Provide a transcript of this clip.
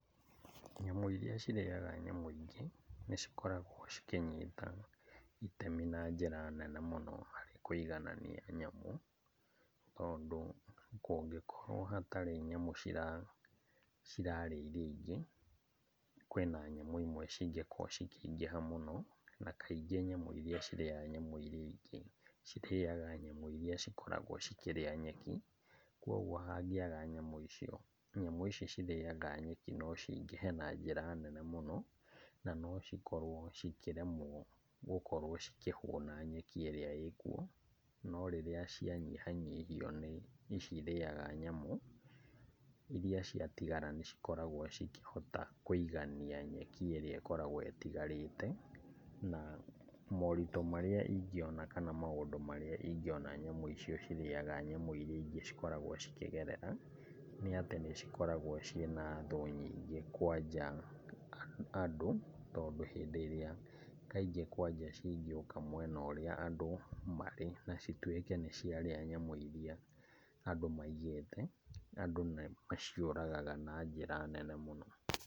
Nyamũ iria cirĩaga nyamũ ingĩ nĩcikoragwo cikĩnyita itemi na njĩra nene mũno harĩ kũiganania nyamũ tondũ kũngĩkorwo hatarĩ nyamũ cirarĩa iria ingĩ, kwĩna nyamũ imwe cingĩkorwo cikĩingĩha mũno. Na kaingĩ nyamũ iria cirĩaga nyamũ iria ingĩ, cirĩaga nyamũ iria cikoragwo cikĩrĩa nyeki. Kwoguo hangĩaga nyamũ icio, nyamũ ici cirĩaga nyeki no cingĩhe na njĩra nene mũno nanocikorwo cikĩremwo gũkorwo cikĩhuna nyeki ĩrĩa ĩ kuo, no rĩrĩa cianyihanyihio nĩ ici irĩaga nyamũ, iria ciatigara nĩ cikoragwo cikĩhota kũigania nyeki ĩrĩa ĩkoragwo ĩtigarĩte, na moritũ marĩa ingĩona, kana maũndũ marĩa ingĩona nyamũ icio cirĩaga nyamũ iria ingĩ cikoragwo cikĩgerera, nĩ atĩ nĩcikoragwo ciĩ na thũ nyingĩ kwanja andũ, tondũ hĩndĩ ĩrĩa kaingĩ kwanja cingĩũka mwena ũrĩa andũ marĩ na cituĩke nĩciarĩa nyamũ iria andũ maigĩte, andũ nĩmaciũragaga na njĩra nene mũno.